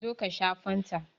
Zo ka sha fanta!